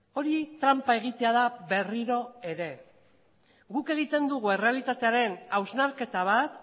hori tranpa egitea da berriro ere guk egiten dugu errealitatearen hausnarketa bat